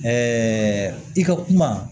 i ka kuma